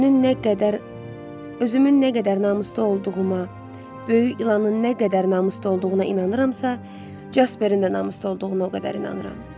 Özünün nə qədər özümün nə qədər namuslu olduğuma, böyük ilanın nə qədər namuslu olduğuna inanıramsa, Jasperin də namuslu olduğuna o qədər inanıram.